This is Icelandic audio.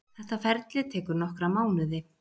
Þetta ferli tekur nokkra mánuði.